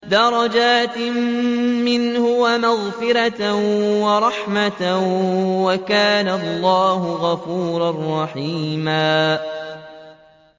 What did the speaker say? دَرَجَاتٍ مِّنْهُ وَمَغْفِرَةً وَرَحْمَةً ۚ وَكَانَ اللَّهُ غَفُورًا رَّحِيمًا